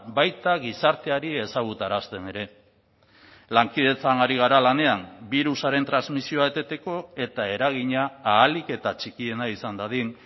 baita gizarteari ezagutarazten ere lankidetzan ari gara lanean birusaren transmisioa eteteko eta eragina ahalik eta txikiena izan dadin